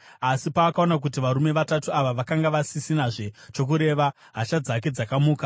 Asi paakaona kuti varume vatatu ava vakanga vasisinazve chokureva, hasha dzake dzakamuka.